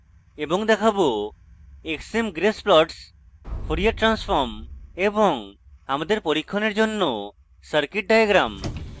এবং দেখাবো